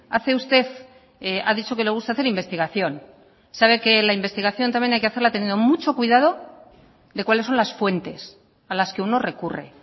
hace usted ha dicho que le gusta hacer investigación sabe que la investigación también hay que hacerlo teniendo mucho cuidado de cuáles son las fuentes a las que uno recurre